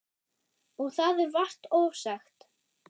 Og það er vart ofsagt.